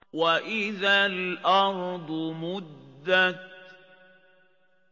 وَإِذَا الْأَرْضُ مُدَّتْ